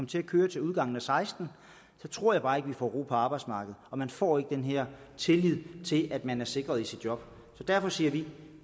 til at køre til udgangen og seksten tror jeg bare ikke vi får ro på arbejdsmarkedet og man får ikke den her tillid til at man er sikret i sit job derfor siger vi